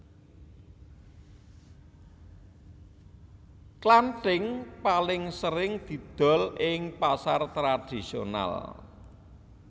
Klantink paling sering didol ing pasar tradisional